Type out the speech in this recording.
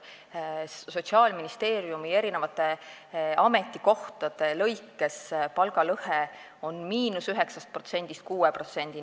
Sotsiaalministeeriumi ametikohtadel on palgalõhe –9%-st 6%-ni.